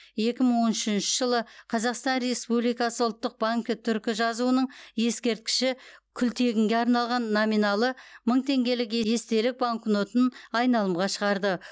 екі мың он үшінші жылы қазақстан республикасы ұлттық банкі түркі жазуының ескерткіші күлтегінге арналған номиналы мың теңгелік ерестелік банкнотын айналымға шығарды